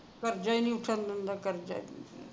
ਕਰਜਾ ਹੀ ਨਹੀਂ ਉੱਠਣ ਦਿੰਦਾ ਕਰਜਾ ਹੀ ਨਹੀਂ